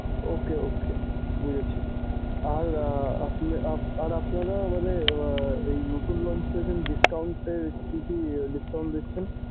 ok ok বুঝেছি। আর আপনি আর আপনি না মানে আহ নতুন launch করে discount এ কি কি discount দিচ্ছেন।